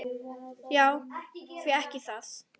Já, því ekki það?